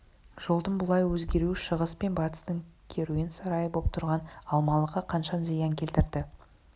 жолдың бұлай өзгеруі шығыс пен батыстың керуен сарайы боп тұрған алмалыққа қанша зиян келтірді